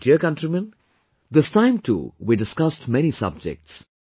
My dear countrymen, this time too we discussed many subjects